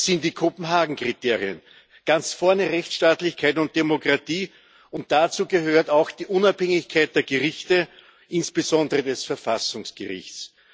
Das sind die Kopenhagen Kriterien, ganz vorne Rechtsstaatlichkeit und Demokratie und dazu gehört auch die Unabhängigkeit der Gerichte, insbesondere des Verfassungsgerichts.